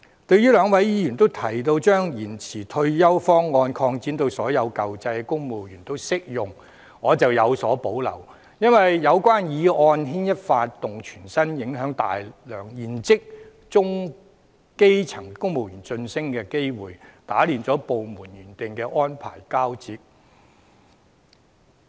對於兩位議員均提到把延遲退休方案擴展至所有舊制公務員也適用，我則有所保留，因為有關建議會牽一髮動全身，影響大量現職中、基層公務員的晉升機會，打亂部門原定的安排交接。